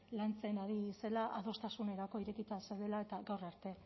lantzen ari zela adostasunerako irekita zeudela eta gaur arte